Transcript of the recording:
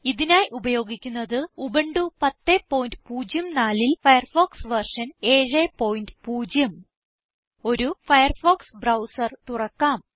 ഇതിനായി ഉപയോഗിക്കുന്നത് ഉബുന്റു 1004ൽ ഫയർഫോക്സ് വെർഷൻ 70 ഒരു ഫയർഫോക്സ് ബ്രൌസർ തുറക്കാം